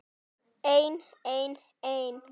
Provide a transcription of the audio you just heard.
Einn, einn, einn.